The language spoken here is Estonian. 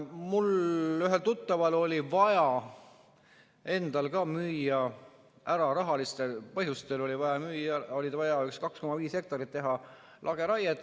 Mul ühel tuttaval oli vaja endal rahalistel põhjustel müüa 2,5 hektarit, teha lageraiet.